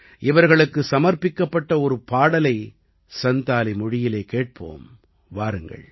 இவர்களுக்கு சமர்ப்பிக்கப்பட்ட ஒரு பாடலை சந்தாலி மொழியிலே கேட்போம் வாருங்கள்